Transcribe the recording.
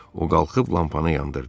O qalxıb lampanı yandırdı.